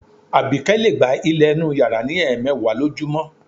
Àbíkẹ́ lè gbá ilẹ̀ inú yàrá ní ẹ̀ẹmẹ̀wà lójúmọ́